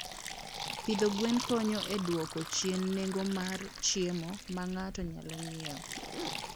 Pidho gwen konyo e dwoko chien nengo mar chiemo ma ng'ato nyalo nyiewo.